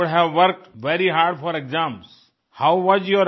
you would have worked very hard for exams how वास